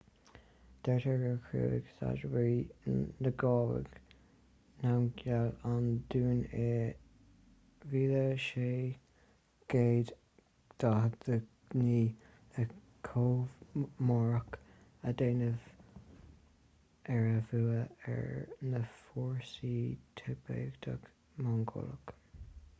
deirtear gur chruthaigh zhabdrung ngawang namgyel an dún i 1649 le comóradh a dhéanamh ar a bhua ar na fórsaí tibéadacha-mongólacha